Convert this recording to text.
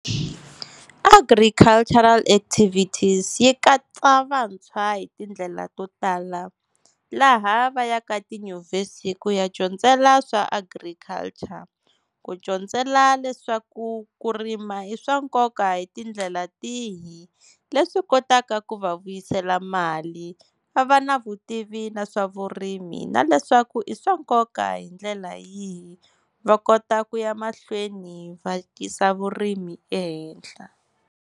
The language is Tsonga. Agricultural activities yi katsa vantshwa hi tindlela to tala, laha va yaka tinyuvhesi ku ya dyondzela swa agriculture. Ku dyondzela leswaku ku rima i swa nkoka hi tindlela tihi, leswi kotaka ku va vuyisela mali va va na vutivi na swa vurimi na leswaku i swa nkoka hi ndlela yihi. Va kota ku ya mahlweni va yisa vurimi ehenhla.